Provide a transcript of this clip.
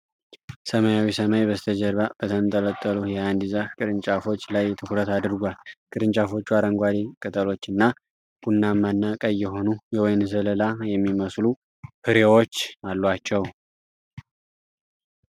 ሰማያዊ ሰማይ በስተጀርባ በተንጠለጠሉ የአንድ ዛፍ ቅርንጫፎች ላይ ትኩረት አድርጓል። ቅርንጫፎቹ አረንጓዴ ቅጠሎችና ቡናማና ቀይ የሆኑ የወይን ዘለላ የሚመስሉ ፍሬዎች አሏቸው።